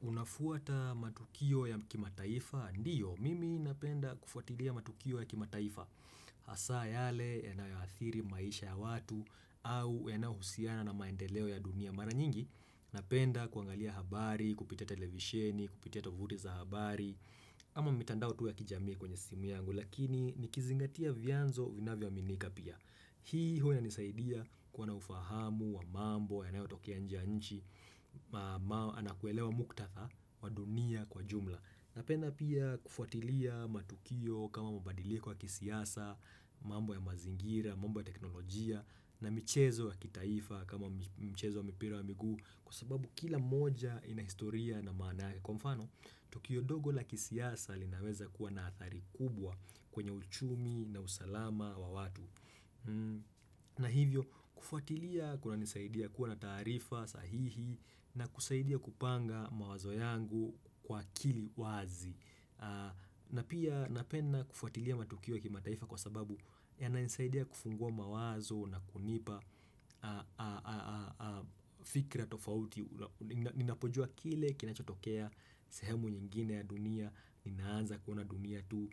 Unafuata matukio ya kimataifa ndiyo mimi napenda kufuatiliaa matukio ya kimataifa Hasaa yale yanaoathiri maisha ya watu au yanao husiana na maendeleo ya dunia Mara nyingi napenda kuangalia habari, kupitia televisheni, kupitia tovuti za habari ama mitandao tu ya kijami kwenye simu yangu lakini nikizingatia vianzo vinavyo aminika pia Hii hua inanisaidia kuwa na ufahamu, wa mambo, yanayotokea nje ya nchi ama kuelewa muktadha wa dunia kwa jumla Napenda pia kufuatilia matukio kama mabadiliko ya kisiasa mambo ya mazingira, mambo ya teknolojia na michezo ya kitaifa kama michezo ya mpira wa miguu Kwa sababu kila moja inahistoria na maana yake kwa mfano Tukio dogo la kisiasa linaweza kuwa na athari kubwa kwenye uchumi na usalama wa watu na hivyo kufuatilia kunanisaidia kuwa na taarifa sahihi na kusaidia kupanga mawazo yangu kwa akili wazi na pia napenda kufuatilia matukio ya mataifa kwa sababu yananisaidia kufungua mawazo na kunipa fikira tofauti Ninapojua kile kinachotokea sehemu nyingine ya dunia, ninaanza kuona dunia tu